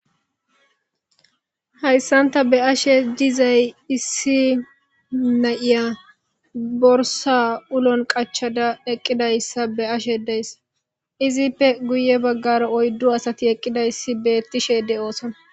hayssanta be'ashe dizay issi nayiya borsa ulon qachada eqqidayssa be ashe deysa izippe guye baggara oyddu asati eqqidayssi beettishede oosona